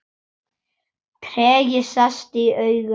Tregi sest í augu hans.